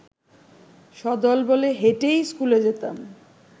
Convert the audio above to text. সদলবলে হেঁটেই স্কুলে যেতাম